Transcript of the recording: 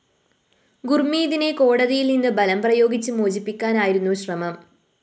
ഗുര്‍മീതിനെ കോടതിയില്‍ നിന്നു ബലം പ്രയോഗിച്ചു മോചിപ്പിക്കാനായിരുന്നു ശ്രമം